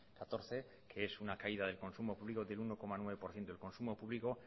catorce que es una caída de consumo público que tiene uno coma nueve por ciento el consumo público